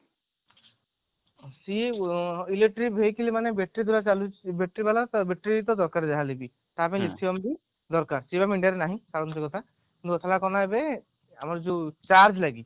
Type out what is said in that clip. ସେଇ electric vehicle ମାନେ ବେଶୀ ଦୂର ଚାଲିଛି battery ବାଲା ତା battery ତ ଦରକାର ଯାହା ହେଲେ ବି ତା ପାଇଁ ବି ଦରକାର ସେ ଆମ india ରେ ନାହିଁ ଛାଡନ୍ତୁ ସେ କଥା ଆମର ଯୋଉ charge ଲାଗି